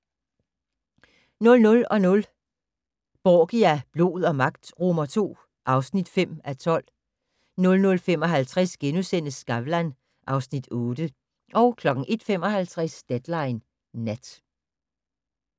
00:00: Borgia - blod og magt II (5:12) 00:55: Skavlan (Afs. 8)* 01:55: Deadline Nat